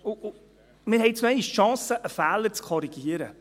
» Wir haben jetzt noch einmal die Chance, einen Fehler zu korrigieren.